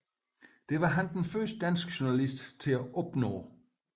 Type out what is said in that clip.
Det var han den første danske journalist til at opnå